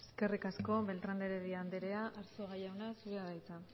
eskerrik asko beltrán de heredia andrea arzuaga jauna zurea da hitza